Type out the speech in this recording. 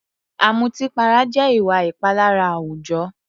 Ọ̀mùtípara jẹ́ ìwà ìpalára àwùjọ.